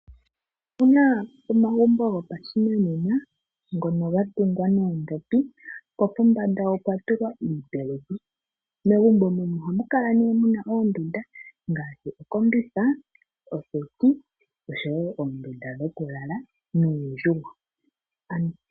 Opuna oma gumbo gopashinanena ngono gatungwa noondhopi po pombanda opwatulwa iipeleki, megumbo mono ohamukala nee muna oondunda ngaashi: okombitha, oseti oshowo oondunda dhokulala nuundjugo.